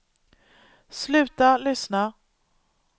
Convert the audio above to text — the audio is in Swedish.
sluta lyssna